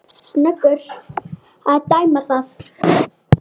Snöggur að tæma það.